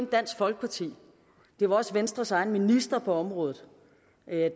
dansk folkeparti men også venstres egen minister på området